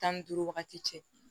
Tan ni duuru wagati cɛ